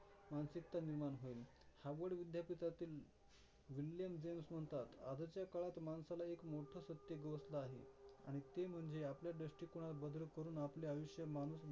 मानसिकता निर्माण होईल. हार्वर्ड विद्यापिठातील विल्यम जेम्स म्हणतात, आजच्या काळात माणसाला एक मोठ सत्य गवसलं आहे आणि म्हणजे आपल्या दृष्टीकोनात बदल करून आपले आयुष्य माणूस